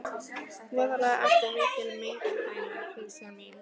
Voðalega ertu mikil hengilmæna, pysjan mín.